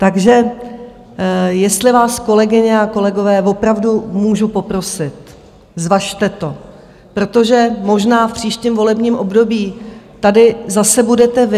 Takže jestli vás, kolegyně a kolegové, opravdu můžu poprosit, zvažte to, protože možná v příštím volebním období tady zase budete vy.